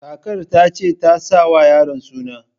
Kakar ta ce tasa wa yaron suna